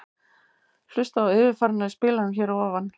Hlustaðu á yfirferðina í spilaranum hér að ofan.